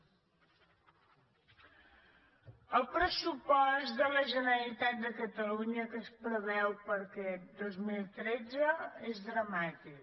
el pressupost de la generalitat de catalunya que es preveu per a aquest dos mil tretze és dramàtic